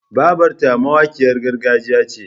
Babarta mawakiyar gargajiya ce.